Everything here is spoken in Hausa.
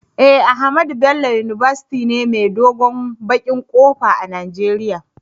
Eh, Ahmadu Bello university ne mai dogon bakin kofa a nageria.